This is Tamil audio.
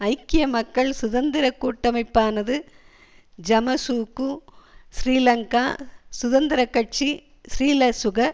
ஐக்கிய மக்கள் சுதந்திர கூட்டமைப்பானது ஐமசுகூ ஸ்ரீலங்கா சுதந்திர கட்சி ஸ்ரீலசுக